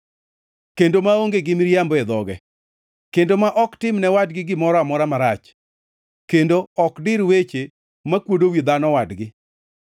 kendo maonge gi miriambo e dhoge, kendo ma ok tim ne wadgi gimoro amora marach kendo ok dir weche makwodo wi dhano wadgi,